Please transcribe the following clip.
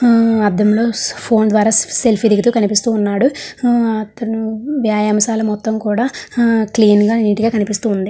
హమ్ ఆదం లో చూస్తూ ఫోన్ ద్వారా సెల్ఫీ దిగుతూ ఉన్నాడు హమ్ అతను వైవాంశల మొత్తం కూడా హ క్లీన్ గ నీట్ గ కనిపిస్తుంది.